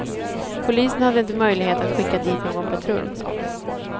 Polisen hade inte möjlighet att skicka dit någon patrull.